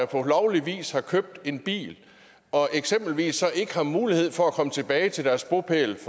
på lovlig vis har købt en bil eksempelvis ikke har mulighed for at komme tilbage til deres bopæl